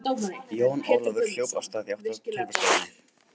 Jón Ólafur hljóp af stað í átt að tölvustofunni.